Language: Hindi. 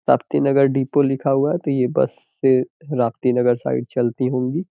राप्तीनगर नगर डिपो लिखा हुआ है तो ये बस राप्तीनगर साइड चलती होगी।